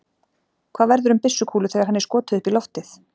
Hvað verður um byssukúlu þegar henni er skotið upp í loftið?